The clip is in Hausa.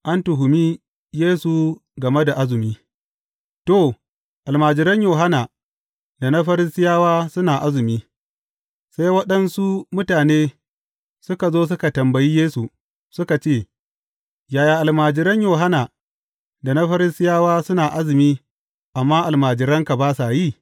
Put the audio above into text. An tuhumi Yesu game da azumi To, almajiran Yohanna da na Farisiyawa suna azumi, sai waɗansu mutane suka zo suka tambayi Yesu, suka ce, Yaya almajiran Yohanna da na Farisiyawa suna azumi, amma almajiranka ba sa yi?